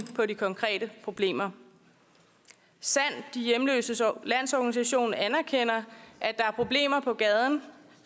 på de konkrete problemer sand de hjemløses landsorganisation anerkender at der er problemer på gaden